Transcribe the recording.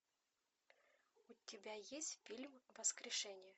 у тебя есть фильм воскрешение